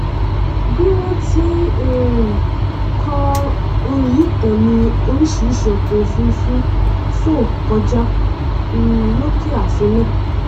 bí wọn ti n um kọ orin yìí tán ni oríṣìíríṣìí ọkọòfurufú fò kọjá um lókè e àfin náà